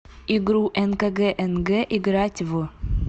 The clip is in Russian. игру нкгнг играть в